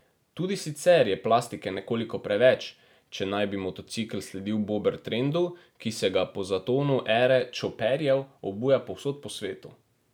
Tudi sicer je plastike nekoliko preveč, če naj bi motocikel sledil bobber trendu, ki se ga po zatonu ere čoperjev, obuja povsod po svetu.